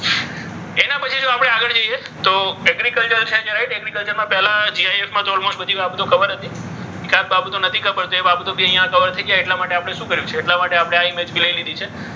એના પછી જો આપણે આગળ જઈએ તો. agriculture છે. agriculture છે માં પહેલો ખાસ બાબતો નથી ખબર એ બાબતો ભી કવર થઈ ગઈ એટલા માટે આપણે શું કરીએ છીએ? એટલા માટે આપણે આ ઈમેજ લઈ લીધી છે.